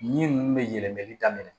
Yiri ninnu bɛ yɛlɛmali daminɛ